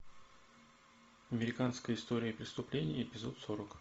американская история преступлений эпизод сорок